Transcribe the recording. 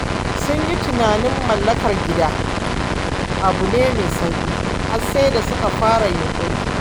Sun yi tunanin mallakar gida abu ne mai sauƙi har sai da suka fara yunƙuri.